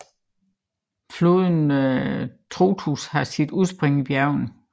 Floden Trotuș har sit udspring i bjergene